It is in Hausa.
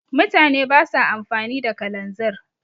mutane ba sa amfani da kalanzir